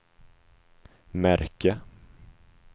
märke